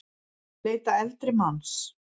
Leita eldri manns